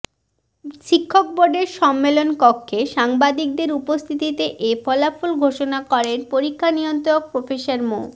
শিক্ষক বোর্ডের সম্মেলনকক্ষে সাংবাদিকদেও উপস্থিততে এ ফলাফল ঘোষণা করেন পরীক্ষা নিয়ন্ত্রক প্রফেসর মো